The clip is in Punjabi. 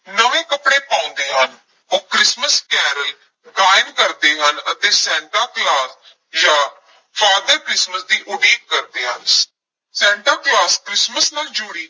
ਨਵੇਂ ਕੱਪੜੇ ਪਾਉਂਦੇ ਹਨ, ਉਹ ਕ੍ਰਿਸਮਿਸ ਕੈਰਲ ਗਾਇਨ ਕਰਦੇ ਹਨ ਅਤੇ ਸੈਂਟਾ ਕਲੌਸ ਜਾਂ father ਕ੍ਰਿਸਮਸ ਦੀ ਉਡੀਕ ਕਰਦੇ ਹਨ ਸੈਂਟਾ ਕਲੌਸ ਕ੍ਰਿਸਮਸ ਨਾਲ ਜੁੜੀ